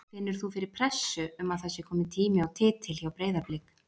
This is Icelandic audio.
Finnur þú fyrir pressu um að það sé komin tími á titil hjá Breiðablik?